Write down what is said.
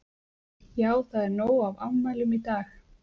Já það er nóg af afmælum í dag.